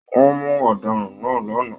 Wọn mú ọdaràn náà l'ana.